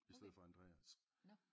I stedet for Andreas